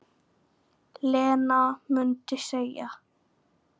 Lena mundi segja.